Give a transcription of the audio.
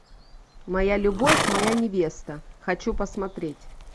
моя любовь моя невеста хочу посмотреть